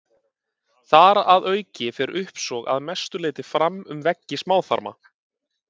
Þar að auki fer uppsog að mestu leyti fram um veggi smáþarma.